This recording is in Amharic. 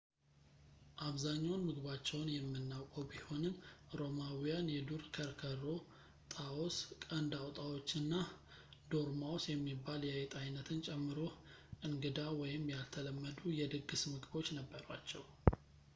አብዛኛውን ምግባቸውን የምናውቀው ቢሆንም ሮማውያን የዱር ከርከሮ ጣዎስ ቀንድ አውጣዎች እና ዶርማውስ የሚባል የአይጥ አይነትን ጨምሮ እንግዳ ወይም ያልተለመዱ የድግስ ምግቦች ነበሯቸው